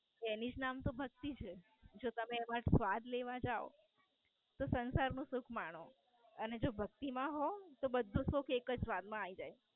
એની જ નામ તો ભક્તિ છે. જો તમે એમાં સ્વાદ લેવા જાવ તો સઁસાર નું સુખ માણો. અને જો ભક્તિ માં હોવ તો બધું જ સુખ એક જ વાર માં આયી જાય.